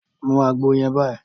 Mú àgbo yẹn báyìí!